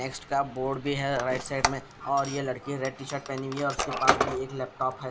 Extra board भी है right side में और ये लड़की रेड टी शर्ट पहनी हुई है और उसके पास भी एक लैपटॉप है।